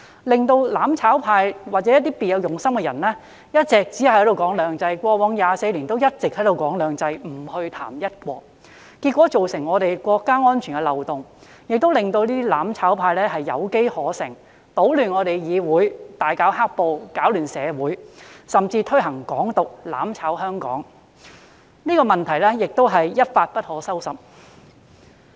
"攬炒派"或別有用心的人一直強調"兩制"，他們在過去24年來，均一直只談"兩制"而不談"一國"。結果，這變成國家安全漏洞，令"攬炒派"有機可乘，搗亂議會，大搞"黑暴"，擾亂社會秩序，甚至提倡"港獨"，"攬炒"香港，情況一發不可收拾。